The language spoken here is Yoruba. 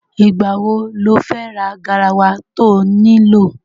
Ìgbà wo lo fẹ́ ra garawa to nílò?